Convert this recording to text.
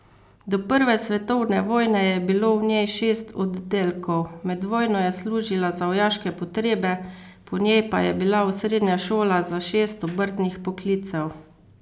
Do prve svetovne vojne je bilo v njej šest oddelkov, med vojno je služila za vojaške potrebe, po njej pa je bila osrednja šola za šest obrtnih poklicev.